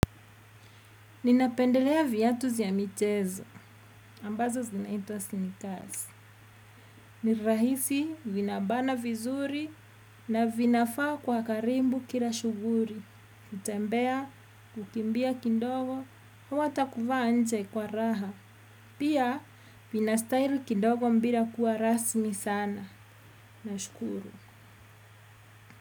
Ninapendelea viatu vya mchezo, ambazo zinaitwa sneakers. Nirahisi, vinabana vizuri, na vinafaa kwa karibu kila shughuli. Kutembea, kukimbia kidogo, au hata kuvaa nje kwa raha. Pia, vina style kidogo bila kuwa rasmi sana. Na shukuru.